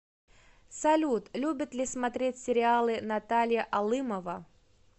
салют любит ли смотреть сериалы наталья алымова